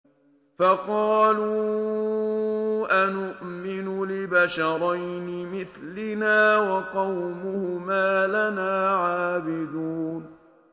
فَقَالُوا أَنُؤْمِنُ لِبَشَرَيْنِ مِثْلِنَا وَقَوْمُهُمَا لَنَا عَابِدُونَ